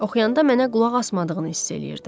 Oxuyanda mənə qulaq asmadığını hiss eləyirdim.